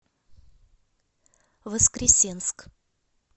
воскресенск